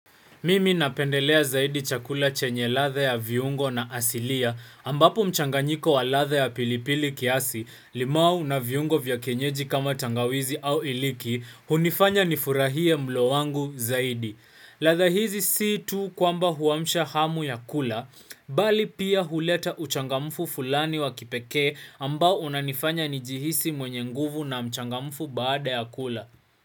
Mimi napendelea zaidi chakula chenye ladha ya viungo na asilia ambapo mchanganyiko wa ladha ya pilipili kiasi, limau na viungo vya kienyeji kama tangawizi au iliki, hunifanya nifurahie mlo wangu zaidi. Ladha hizi si tu kwamba huamsha hamu ya kula, bali pia huleta uchangamfu fulani wa kipekee ambao unanifanya nijihisi mwenye nguvu na mchangamfu baada ya kula.